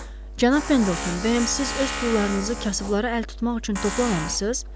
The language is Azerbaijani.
Cənab Pendleton, bəyəm siz öz pullarınızı kasıblara əl tutmaq üçün toplamamısınız?